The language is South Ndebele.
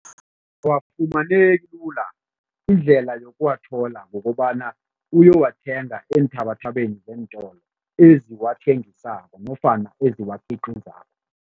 Awafumaneki lula. Indlela yokuwathola kukobana uyowathenga eenthabathabeni zeentolo eziwathengisako nofana eziwakhiqizako.